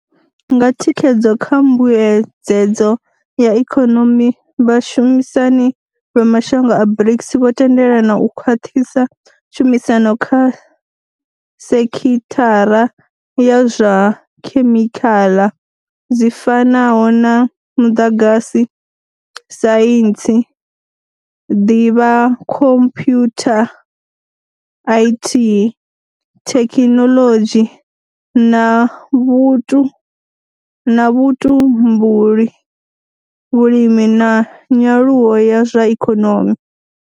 Nga thikhedzo kha mbuedzedzo ya ikonomi, vha shumisani vha mashango a BRICS vho tendelana u khwaṱhisa tshumisano kha sekhithara dza zwa khemikhaḽa dzi fanaho na muḓagasi, saintsi, ḓivhakhomphyutha, IT, thekhinoḽodzhi na vhutumbuli, vhulimi na nyaluwo ya zwa ikonomi.